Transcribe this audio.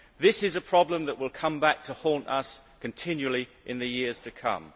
This is a problem that will come back to haunt us continually in the years to come.